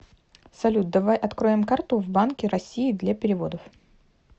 салют давай откроем карту в банке россии для переводов